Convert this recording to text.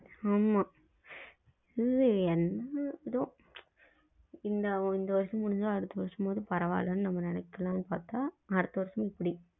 ஆமா இந்த வருஷம் முடிஞ்சி அடுத்த வருஷம் பரவ இல்லைன்னு நினைக்க்கலாம்னு பாத்தா அடுத்த வருஷம் இப்டி